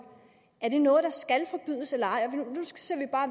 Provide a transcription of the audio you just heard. er det noget der skal forbydes eller ej og nu ser vi bare